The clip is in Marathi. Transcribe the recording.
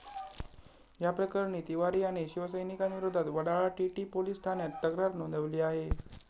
या प्रकरणी तिवारी याने शिवसैनिकांविरोधात वडाळा टीटी पोलिस ठाण्यात तक्रार नोंदवली आहे.